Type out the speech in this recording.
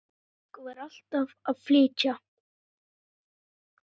Fólkið var alltaf að flytja.